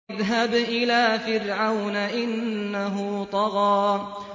اذْهَبْ إِلَىٰ فِرْعَوْنَ إِنَّهُ طَغَىٰ